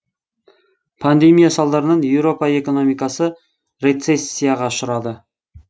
пандемия салдарынан еуропа экономикасы рецессияға ұшырады